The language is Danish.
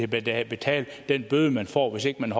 betale betale den bøde man får hvis ikke man